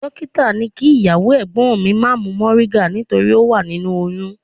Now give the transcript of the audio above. Dọ́kítà ní kí ìyàwó ẹ̀gbọ́n mi má mu moringa nítorí ó wà nínú oyún.